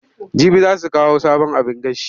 Jibi za su kawo sabon abin gashi.